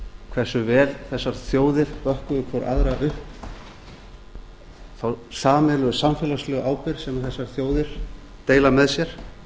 hversu vel þessar þjóðir bökkuðu hver aðrar upp þá sameiginlegu samfélagslegu ábyrgð sem þessar þjóðir deila með sér